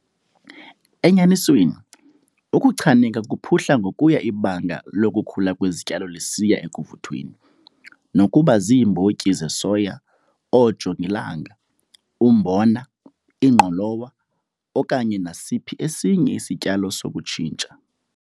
Enyanisweni, ukuchaneka kuphuhla ngokuya ibanga lokukhula kwezityalo lisiya ekuvuthweni, nokuba ziimbotyi zesoya, oojongilanga, umbona, ingqolowa okanye nasiphi esinye isityalo sokutshintsha.